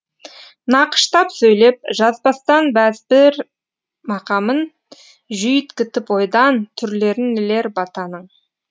нақыштап сөйлеп жазбастан бәзбір мақамын жүйткітіп ойдан түрлерін нелер батаның